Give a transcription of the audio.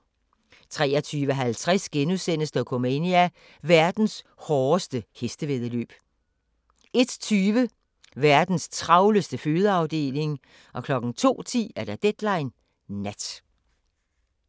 23:50: Dokumania: Verdens hårdeste hestevæddeløb * 01:20: Verdens travleste fødeafdeling 02:10: Deadline Nat